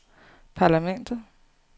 parlamentet